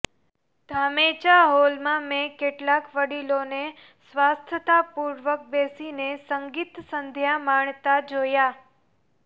ધામેચા હોલમાં મેં કેટલાય વડીલોને સ્વસ્થતાપૂર્વક બેસીને સંગીતસંધ્યા માણતા જોયાં